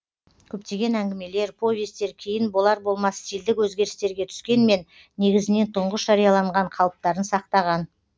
көптеген әңгімелер повестер кейін болар болмас стильдік өзгерістерге түскенмен негізінен тұңғыш жарияланған қалыптарын сақтаған